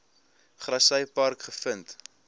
grassy park gevind